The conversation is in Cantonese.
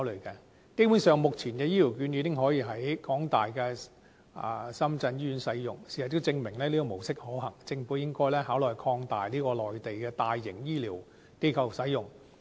基本上，目前的醫療券已經可以在香港大學深圳醫院使用，事實也證明這種模式可行，政府應該考慮擴大至在內地的大型醫療機構使用。